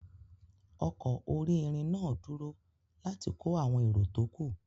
Ọkọ̀ orí-irin náà dúró láti kó àwọn èro tó kù.